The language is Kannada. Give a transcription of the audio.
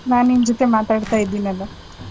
ನಾನ್ ನಿನ್ ಜೊತೆ ಮಾತಾಡ್ತಾ ಇದಿನಲ.